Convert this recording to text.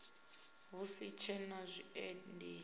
hu si tshee na zwiendisi